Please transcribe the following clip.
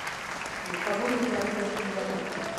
gĩkabu nĩ mbia cigana